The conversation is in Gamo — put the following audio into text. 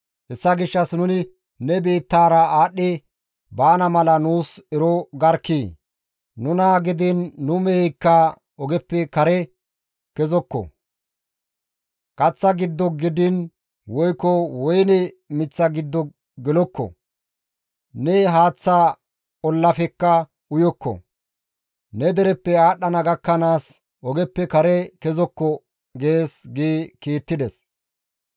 Hessa gishshas nuni ne biittaara aadhdhi baana mala nuus ero garkkii! Nuna gidiin nu meheykka ogeppe kare kezokko; kaththa giddo gidiin woykko woyne miththa giddo nu gelokko; ne haaththa ollafekka uyokko; ne dereppe aadhdhana gakkanaas ogeppe kare kezokko› gees» gi kiittides.